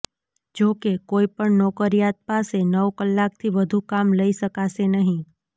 જોકે કોઈપણ નોકરિયાત પાસે નવ કલાકથી વધુ કામ લઈ શકાશે નહિ